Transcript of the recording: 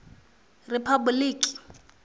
riphabuḽiki